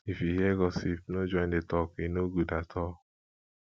if you hear gossip no join the talk e no good at all